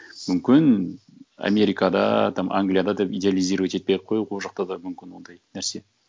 мүмкін америкада там англияда деп идеализировать етпей ақ қояйық ол жақта да мүмкін ондай нәрсе